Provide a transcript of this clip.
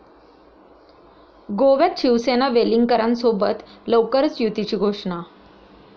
गोव्यात शिवसेना वेलिंगकरांसोबत, लवकरच युतीची घोषणा